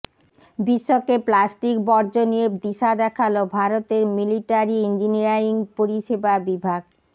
বিশ্বকে প্লাস্টিক বর্জ্য নিয়ে দিশা দেখাল ভারতের মিলিটারি ইঞ্জিনিয়ারিং পরিষেবা বিভাগ